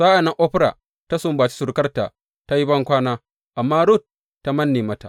Sa’an nan Orfa ta sumbaci surukarta ta yi bankwana, amma Rut ta manne mata.